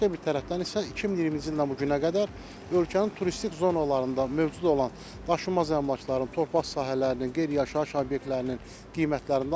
Başqa bir tərəfdən isə 2020-ci ildən bu günə qədər ölkənin turistik zonalarında mövcud olan daşınmaz əmlakların, torpaq sahələrinin, qeyri-yaşayış obyektlərinin qiymətlərində artım var.